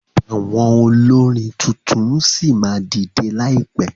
Àwọn olórin tuntun ṣì máa dìdẹ láìpẹ.